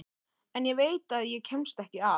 En ég veit að ég kemst ekki að.